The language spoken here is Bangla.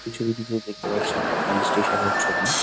এই ছবিটিতে দেখতে পাচ্ছি একটি স্টেশন -এর ছবি।